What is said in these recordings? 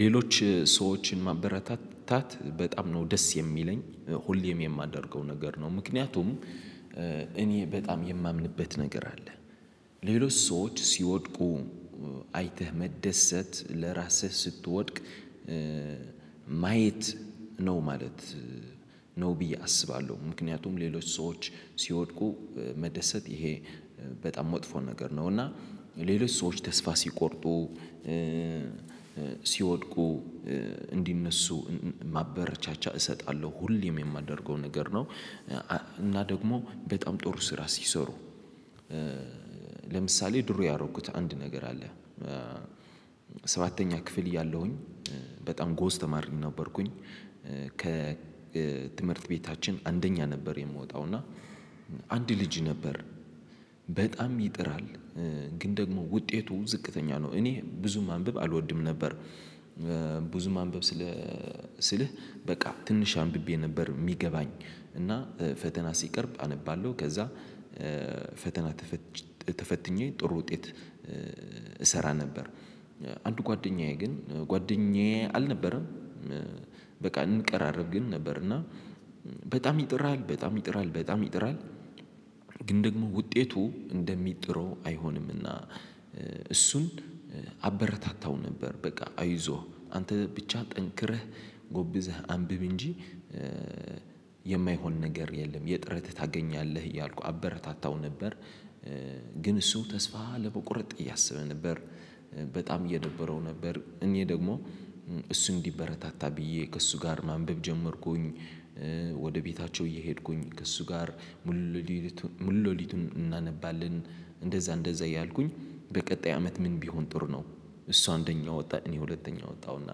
ሌሎች ሰዎችን ማበረታታት በጣም ነው ደስ የሚለኝ ሁሌም የማደርገው ነገር ነው። ምክንያቱም እኔ በጣም የማምንበት ነገር አለ። ሌሎች ሰዎች ሲወድቁ አይተህ መደሰት ለራስህ ስትወድቅ ማየት ነው ማለት ነው። ብዬ አስባለሁ ምክንያቱም ሌሎች ሰዎች ሲወድቁ መደሰት ይሄ በጣም መጥፎ ነገር ነው። እና ሌሎች ሰዎች ተስፋ ሲቆርጡ ሲወድቁ እንዲነሱ ማበረቻቻ እሰጣለሁ ሁሌም የማደርገው ነገር ነው። እና ደግሞ በጣም ጥሩ ስራ ሲሰሩ ለምሳሌ ድሮ ያደረኩት አንድ ነገር አለ። ሰባተኛ ክፍል እያለሁኝ በጣም ጎበዝ ተማሪ ነበርኩኝ። ከትምህርት ቤታችን አንደኛ ነበር። የምወጣው እና አንድ ልጅ ነበር። በጣም ይጥራል ግን ደግሞ ውጤቱ ዝቅተኛ ነው እኔ ብዙ ማንበብ አልወድም ነበር። ብዙ ማንበብ ስልህ በቃ ትንሽ አንብቤ ነበር የሚገባኝ። እና ፈተና ሲቀርብ አነባለሁ ከዛ ፈተና ተፈትኜ ጥሩ ውጤት እሰራ ነበር። አንድ ጓደኛዬ ግን ጓደኛዬ አልነበረም። በቃ እንቀራረብ ግን ነበር እና በጣም ይጥራል በጣም ይጥራል በጣም ይጥራል። ግን ደግሞ ውጤቱ እንደሚጥረው አይሆንምና። እሱን አበረታታው ነበር በቃ አይዞህ አንተ ብቻ ጠንክረህ ጎብዘህ አንብብ እንጂ የማይሆን ነገር የለም የጥረትህን ታገኛለህ እያልኩ አበረታታው ነበር። ግን እሱ ተስፋ ለመቁረጥ እያሰበ ነበር። በጣም እየደበረው ነበር እኔ ደግሞ እሱ እንዲበረታታ ብዬ ከእሱ ጋር ማንበብ ጀመርኩኝ። ወደ ቤታቸው እየሄድኩኝ ከእሱ ጋር ሙሉ ለሊቱን እናነባለን። እንደዛ እንደዛ እያልኩኝ በቀጣይ አመት ምን ቢሆን ጥሩ ነው? እሱ አንደኛ ወጣ እኔ ሁለተኛ ወጣሁና።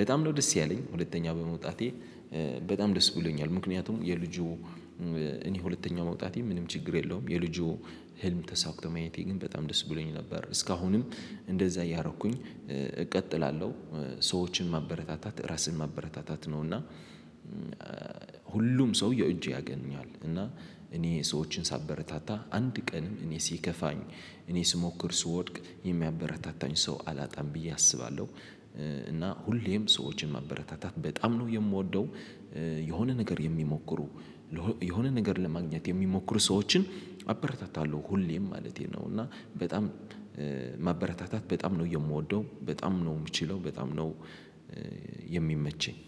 በጣም ነው ደስ ያለኝ ሁለተኛ በመውጣቴ። በጣም ደስ ብሎኛል ምክንያቱም የልጁ እኔ ሁለተኛ መውጣቴ ምንም ችግር የለውም የልጁ ህልም ተሳከቶ ማየቴ ግን በጣም ደስ ብሎኝ ነበር። እስካሁንም እንደዛ እያረኩኝ እቀጥላለሁ። ሰዎችን ማበረታታት ራስን ማበረታታት ነውና። ሁሉም ሰው የእጁን ያገኛል እና እኔ ሰዎችን ሳበረታታ አንድ ቀን እኔ ሲከፋኝ እኔ ስሞክር ስወድቅ የሚያበረታታኝ ሰው አላጣም ብዬ አስባለሁ። እና ሁሌም ሰዎችን ማበረታታት በጣም ነው የምወደው። የሆነ ነገር የሚሞክሩ የሆነ ነገር ለማግኘት የሚሞክሩ ሰዎችን አበረታታለሁ ሁሌም ማለቴ ነው። እና በጣም ማበረታታት በጣም ነው የምወደው በጣም ነው የምችለው በጣም ነው። የሚመቸኝ።